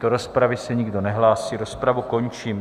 Do rozpravy se nikdo nehlásí, rozpravu končím.